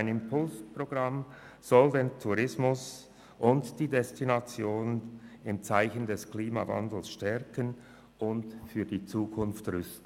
Ein Impulsprogramm soll den Tourismus und die Destinationen im Zeichen des Klimawandels stärken und für die Zukunft rüsten.